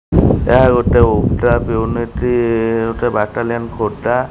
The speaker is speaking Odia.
ଏହା ଗୋଟେ ଉଡ୍ରାପ ୟୁନିଟି ଗୋଟେ ବାଟାଲିୟନ ଖୋର୍ଦ୍ଧା।